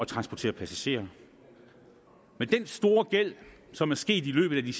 transportere passagerer med den store gæld som er sket i løbet af de